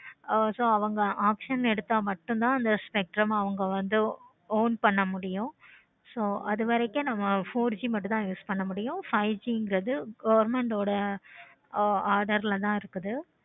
ஆஹ் so அவங்க option எடுத்த மட்டும் தான் இந்த spectrum அவங்க வந்து won பண்ண முடியும். so அது வரைக்கும் நம்ம four G மட்டும் தான் இது பண்ண முடியும். government ஓட order ல தான் இருக்குது.